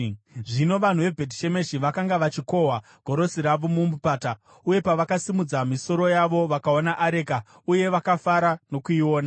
Zvino vanhu veBhetishemeshi vakanga vachikohwa gorosi ravo mumupata, uye pavakasimudza misoro yavo vakaona areka, uye vakafara nokuiona.